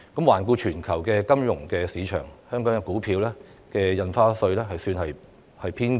環顧全球金融市場，香港的股票印花稅水平算是偏高。